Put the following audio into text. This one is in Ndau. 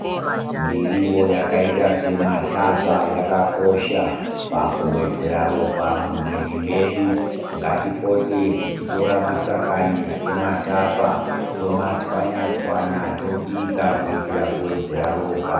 Miriwo yakaita semathapa yakakosha, pakuwedzera ropa mumwiri medu. Ngatipote tichitora mashakani emathapa, tomatswanya-tswanya, tobika, kuitira kuwedzera ropa.